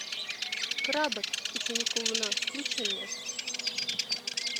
крабат ученик колдуна включи мне